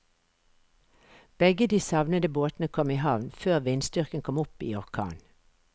Begge de savnede båtene kom i havn før vindstyrken kom opp i orkan.